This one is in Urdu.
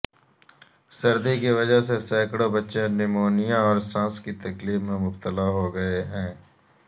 سردی کی وجہ سے سینکڑوں بچے نمونیا اور سانس کی تکلیف میں مبتلا ہوگئے ہیں